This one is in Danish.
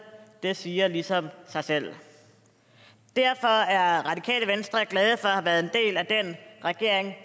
det siger ligesom sig selv derfor er at have været en del af den regering